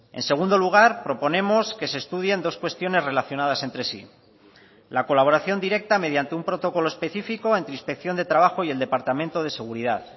en segundo lugar proponemos que se estudien dos cuestiones relacionadas entre sí la colaboración directa mediante un protocolo específico entre inspección de trabajo y el departamento de seguridad